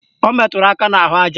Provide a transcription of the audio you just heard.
O meturu aka n'ahụaja